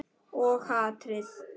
Og hatrið.